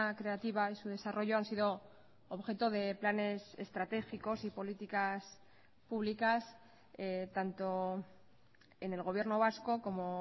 creativa y su desarrollo han sido objeto de planes estratégicos y políticas públicas tanto en el gobierno vasco como